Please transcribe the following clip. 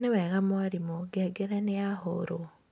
nĩwega mwarimũ, ngengere nĩyahũrwo